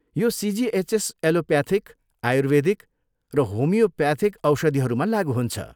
यो CGHS allopathic, Ayurvedic र homeopathic औषधिहरूमा लागु हुन्छ।